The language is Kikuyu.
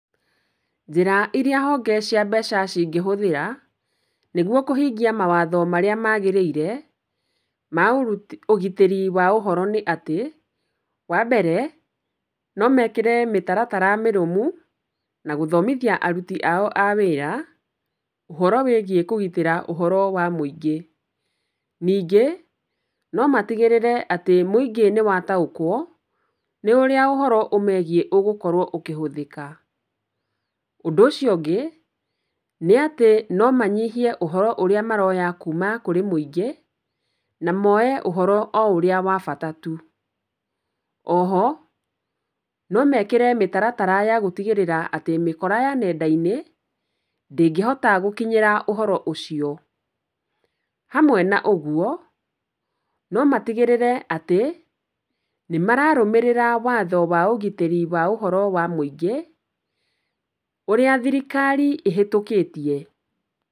Njĩra iria honge cia mbeca cingĩhũthĩra, nĩguo kũhingia mawatho marĩa magĩríĩre, ma ũgitĩri wa ũhoro nĩ atĩ, wa mbere no mekĩre mĩtaratara mĩrũmu na gũthomithia aruti ao a wĩra ũhoro wĩgĩe kũgitĩra ũhoro wa mũingĩ. Ningĩ no matigĩrĩre atĩ mũingĩ nĩ wataũkwo nĩ ũrĩa ũhoro ũmegiĩ ũgũkorwo ũkĩhũthĩka. Undũ ũcio ũngĩ, nĩ atĩ no manyihie ũhoro ũrĩa maroya kuma kũrĩ mũingĩ, na moe ũhoro o ũrĩa wa bata tu. O ho no mekĩre mĩtaratara ya gũtigĩrĩra atĩ mĩkora ya nenda-inĩ, ndĩngĩhota gũkinyĩra ũhoro ũcio. Hamwe na ũguo, no matigĩrĩre atĩ, nĩ mararũmĩrĩra watho wa ũgitĩri wa ũhoro wa mũingĩ ũrĩa thirikari ĩhĩtũkĩtie.